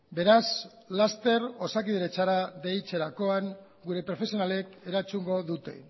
beraz laster osakidetzara deitzerakoan gure profesionalek erantzungo dute